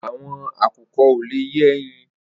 Awọn àkúkọ̀ ò lé yè ẹyin